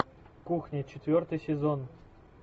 кухня четвертый сезон